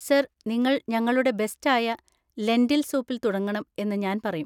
Sir, നിങ്ങൾ ഞങ്ങളുടെ ബെസ്റ്റായ ലെന്‍റിൽ സൂപ്പിൽ തുടങ്ങണം എന്ന് ഞാന്‍ പറയും.